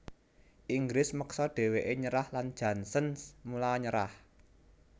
Inggris meksa dhèwèké nyerah lan Janssens mula nyerah